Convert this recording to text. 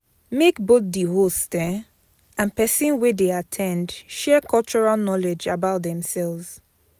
Make both the host um and persin wey de at ten d share cultural knowledge about themselves